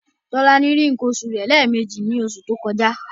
Tolani rí nǹkan oṣù rẹ̀ lẹ́ẹ̀meji ní oṣù tó kọjá.